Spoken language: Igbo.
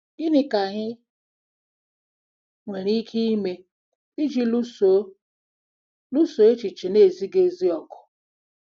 Gịnị ka anyị nwere ike ime iji lụso lụso echiche na-ezighị ezi ọgụ?